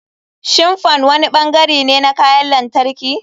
Shin fan wani bangare ne na kayan lantarki?